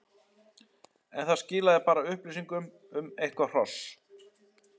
en það skilaði bara upplýsingum um eitthvert hross.